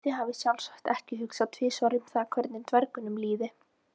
Þið hafið sjálfsagt ekki hugsað tvisvar um það hvernig dvergnum liði?